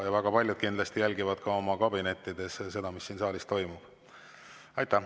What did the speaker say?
Väga paljud kindlasti jälgivad ka oma kabinettides seda, mis siin saalis toimub.